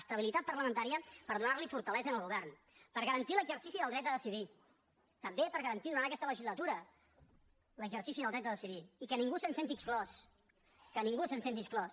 estabilitat parlamentària per donar li fortalesa al govern per garantir l’exercici del dret a decidir també per garantir durant aquesta legislatura l’exercici del dret a decidir i que ningú se’n senti exclòs que ningú se’n senti exclòs